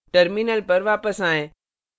terminal पर वापस आएँ